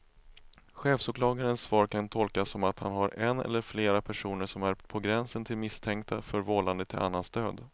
Chefsåklagarens svar kan tolkas som att han har en eller flera personer som är på gränsen till misstänkta för vållande till annans död.